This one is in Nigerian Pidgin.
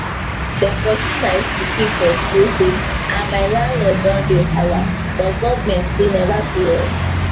dem pursue my pikin for school fees and my landlord don hey halla but government still never pay us